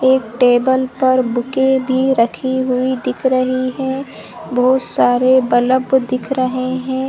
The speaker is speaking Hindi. एक टेबल पर बुके भी रखी हुई दिख रही है। बहुत सारे बलब दिख रहे है।